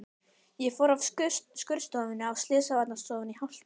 Ég fór af skurðstofunni á slysavarðstofuna í hálft ár.